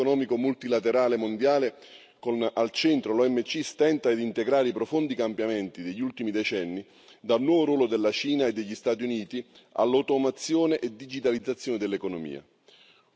L'ordine economico multilaterale mondiale, con al centro l'OMC, stenta a integrare i profondi cambiamenti degli ultimi decenni, dal nuovo ruolo della Cina e degli Stati Uniti all'automazione e digitalizzazione dell'economia.